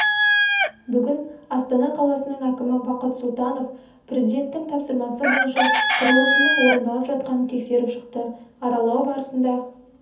бүгін астана қаласының әкімі бақыт сұлтанов президенттің тапсырмасы бойынша құрылысының орындалып жатқанын тексеріп шықты аралау барысында